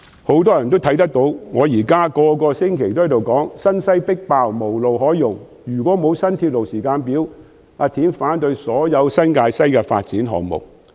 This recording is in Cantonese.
很多人或許留意到我每星期皆說："新西迫爆、無路可用，若然沒有新鐵路時間表，我會反對所有新界西發展項目。